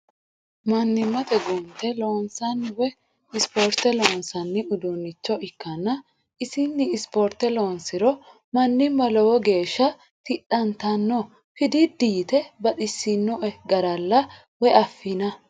Mannimate gunte loonsanni woyi ispoorte loonsanni uduuncho ikkanna isini ispoorte loonsiro manima lowo geeshsha tidhattano fididi yite baxisinoe garalla woyi affi'na.